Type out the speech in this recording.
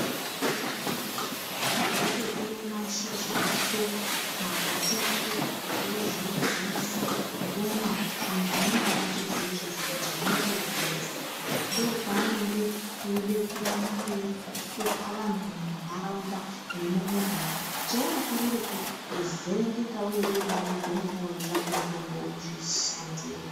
Unototora mashizha ako, makwati ako wozvidziisa womwa muntu umweni haazvizive izvozvo kuti zvinotoporesa, ndoopanenge eide kuramba echishupa vantu munharaunda nemumuganga cheunokorera kuvherengeka urimo mugomo imomo weitsvake mutombo uzvishandire.